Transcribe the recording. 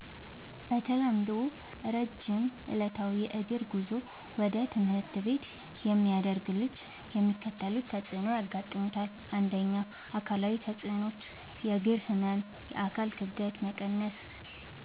በተለምዶ ረጅም ዕለታዊ የእግር ጉዞ ወደ ትምህርት ቤት የሚያደርግ ልጅ የሚከተሉት ተጽዕኖዎች ያጋጥሙታል። ፩. አካላዊ ተጽዕኖዎች፦ · የእግር ህመም፣ የአካል ክብደት መቀነስ፣